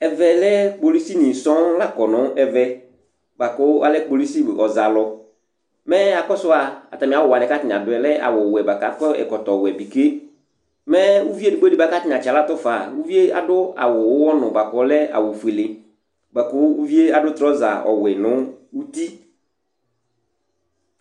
kpolusi nɩ la kɔ nʊ ɛmɛ, atanɩ adʊ awuwɛ kʊ akɔ ɛkɔtɔwɛ, atanɩ atsaɣlatʊ nʊ uvidɩ, uvi yɛ adʊ awu uwɔnu fuele, nʊ drɔsa nʊ uti